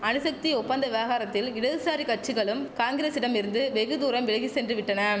அணுசக்தி ஒப்பந்த விவகாரத்தால் இடதுசாரி கட்சிகளும் காங்கிரசிடம் இருந்து வெகு தூரம் விலகி சென்று விட்டனம்